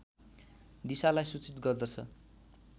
दिशालाई सूचित गर्दछ